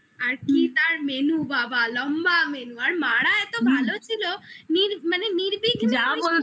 আর কি তার menu বাবা, লম্বা menu আর মা রা এত ভালো ছিল মানে নির্বিঘ্নে